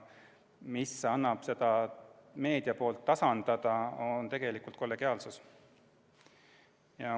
Mis aitab seda meedia poolt tasandada, on tegelikult kollegiaalsus.